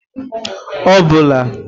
obula